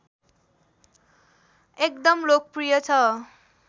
एकदम लोकप्रिय छ